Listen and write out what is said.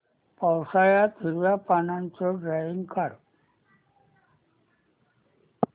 पावसाळ्यातलं हिरव्या पानाचं ड्रॉइंग काढ